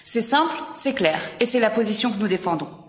C'est simple, c'est clair, et c'est la position que nous défendons.